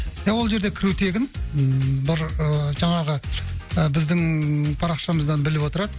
иә ол жерде кіру тегін ммм бір ыыы жаңағы ы біздің парақшамыздан біліп отырады